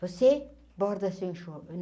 Você borda seu?